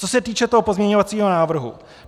Co se týče toho pozměňovacího návrhu.